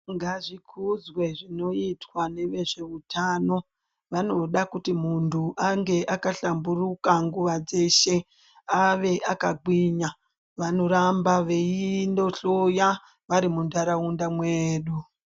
Ngazvikudzwe zvinoita ngevezveutano. Vanoda kuti muntu ange akahlamburuka nguwa dzeshe, ave akagwinya. Vanoramba veindohloya vari munharaunda mwedu.